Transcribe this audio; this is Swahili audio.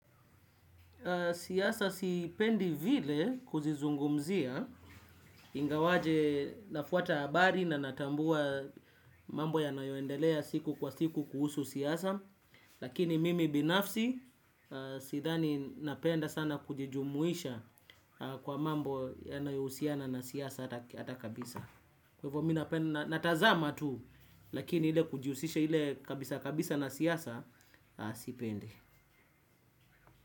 Siasa sipendi vile kuzizungumzia, ingawaje nafuata habari na natambua mambo yanayoendelea siku kwa siku kuhusu siasa, lakini mimi binafsi sidhani napenda sana kujijumuisha kwa mambo yanayohusiana na siasa hata kabisa. Kwa hivyo mimi natazama tu, lakini ile kujihusisha ile kabisa kabisa na siasa sipendi.